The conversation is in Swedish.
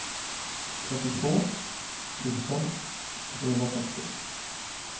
trettiotvå tusen trehundratrettio